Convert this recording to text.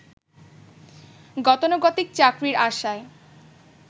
গতানুগতিক চাকরির আশায়